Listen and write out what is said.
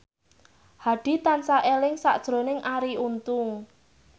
Hadi tansah eling sakjroning Arie Untung